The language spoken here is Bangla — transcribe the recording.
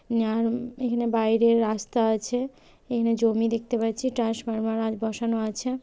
নারম এখানে বাইরে রাস্তা আছে এখানে জমি দেখতে পাচ্ছি ট্রান্সফরমার আর বসানো আছে।